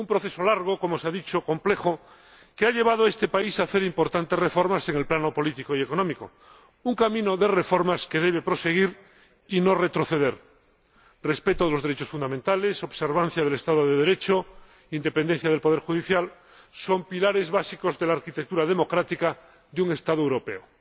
Un proceso largo, como se ha dicho, complejo, que ha llevado a este país a hacer importantes reformas en el plano político y económico. Un camino de reformas que debe proseguir y no retroceder. Respeto de los derechos fundamentales, observancia del Estado de Derecho e independencia del poder judicial son pilares básicos de la arquitectura democrática de un Estado europeo.